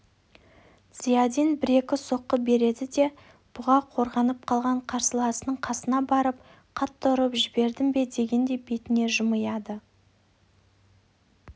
зиядин бір-екі соққы береді де бұға қорғанып қалған қарсыласының қасына барып қатты ұрып жібердім бе дегендей бетіне жымия